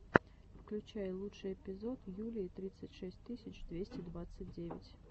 включай лучший эпизод юлии тридцать шесть тысяч двести двадцать девять